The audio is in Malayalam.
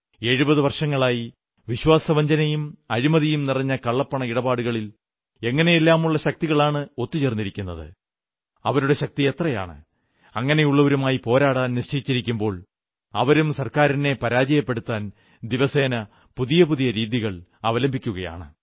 70 വർഷങ്ങളായി വിശ്വാസവഞ്ചനയും അഴിമതിയും നിറഞ്ഞ കള്ളപ്പണ ഇടപാടുകളിൽ എങ്ങനെയെല്ലാമുള്ള ശക്തികളാണ് ഒത്തു ചേർന്നിരിക്കുന്നത് അവരുടെ ശക്തി എത്രയാണ് അങ്ങനെയുള്ളവരുമായി പോരാടാൻ നിശ്ചയിച്ചിരിക്കുമ്പോൾ അവരും സർക്കാരിനെ പരാജയപ്പെടുത്താൻ ദിവസേന പുതിയ പുതിയ രീതികൾ അവലംബിക്കുകയാണ്